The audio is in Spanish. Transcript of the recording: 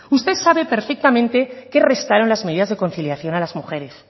usted sabe perfectamente que restaron las medidas de conciliación a las mujeres